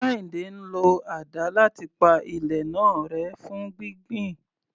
Kehinde ń lo àdá láti pa ilẹ̀ náà rẹ́ fún gbígbìn.